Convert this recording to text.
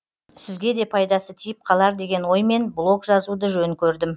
сізге де пайдасы тиіп қалар деген оймен блог жазуды жөн көрдім